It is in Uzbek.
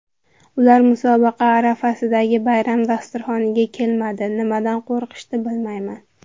Ular musobaqa arafasidagi bayram dasturxoniga kelmadi, nimadan qo‘rqishdi, bilmayman.